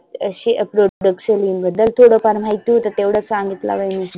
आशी बद्दल थोडफार माहिती होत तेव्हढ सांगितला. बाई मी